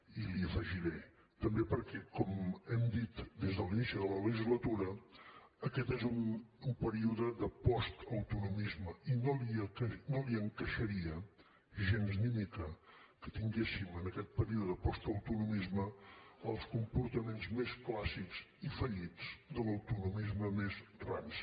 i li afegiré també perquè com hem dit des de l’inici de la legislatura aquest és un període de postautonomisme i no li encaixaria gens ni mica que tinguéssim en aquest període de postautonomisme els comportaments més clàssics i fallits de l’autonomisme més ranci